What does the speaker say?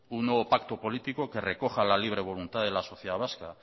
un nuevo pacto político que recoja la libre voluntad de la sociedad vasca